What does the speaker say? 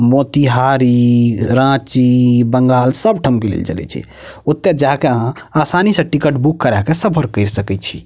मोतिहारी रांची बंगाल सब ठाम के लेल चले छै ओता जाय के आहां आसानी से टिकट बुक करा के सफर केर सकय छी।